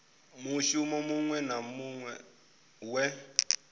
mushumo muṅwe na muṅwe we